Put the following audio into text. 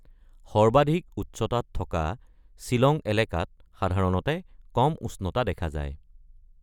সৰ্বাধিক উচ্চতাত থকা শ্বিলং এলেকাত সাধাৰণতে কম উষ্ণতা দেখা যায়।